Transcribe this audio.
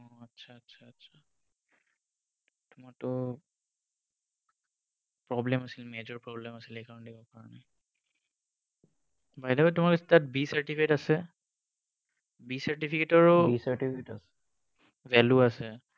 মইতো problem আছিল, major problem আছিল, সেইকাৰণে দিব পৰা নাই। By the way তোমাৰ তাত B certificate আছে, B certificate ও value আছে।